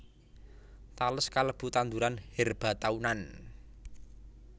Tales kalebu tanduran herba taunan